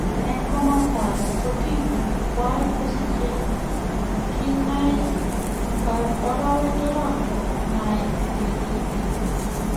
En komsto age ko tibiik chwak gosiche nginaik orowek loo gomait ngetiik.